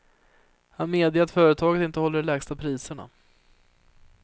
Han medger att företaget inte håller de lägsta priserna.